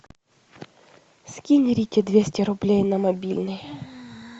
скинь рите двести рублей на мобильный